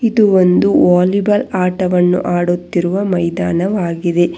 ಇದು ಒಂದು ವಾಲಿಬಾಲ್ ಆಟವನ್ನು ಆಡುತ್ತಿರುವ ಮೈದಾನವಾಗಿದೆ.